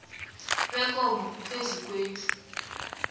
bekomo phezu kwendlu